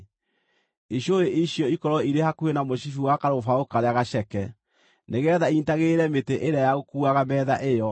Icũhĩ icio ikorwo irĩ hakuhĩ na mũcibi wa karũbaũ karĩa gaceke, nĩgeetha inyiitagĩrĩre mĩtĩ ĩrĩa ya gũkuuaga metha ĩyo.